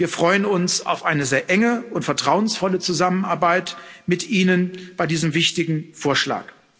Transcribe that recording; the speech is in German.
Wir freuen uns auf eine sehr enge und vertrauensvolle Zusammenarbeit mit Ihnen bei diesem wichtigen Vorschlag.